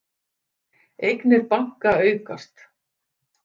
Eignir banka aukast